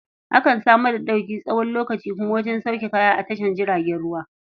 Akan samar da ɗauki tsawon lokaci kuma wajen sauke kaya a tashar jiragen ruwa.